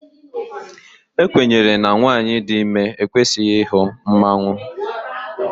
A kwenyere na nwanyị dị ime ekwesịghị ịhụ mmanwụ